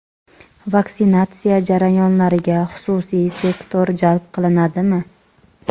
Vaksinatsiya jarayonlariga xususiy sektor jalb qilinadimi?.